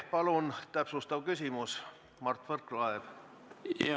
Palun, täpsustav küsimus, Mart Võrklaev!